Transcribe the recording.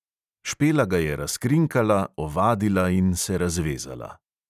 Špela ga je razkrinkala, ovadila in se razvezala.